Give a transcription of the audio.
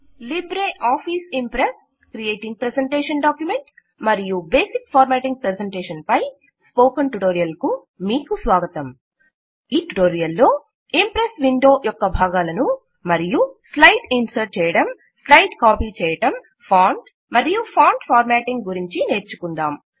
Libre Office Impress creating a presentation document మరియు basic formatting పై spoken tutorial కు మీకు స్వాగతం ఈ ట్యుటోరియల్ లో ఇంప్రెస్ విండో యొక్క భాగాలను మరియు స్లైడ్ ఇన్సర్ట్ చేయటం స్లైడ్ కాపీ చేయటం ఫాంట్ మరియు ఫాంట్ ఫార్మాటింగ్ గురించి నేర్చుకుందాం